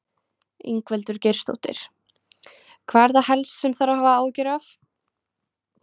Ingveldur Geirsdóttir: Hvað er það helst sem þarf að hafa áhyggjur af?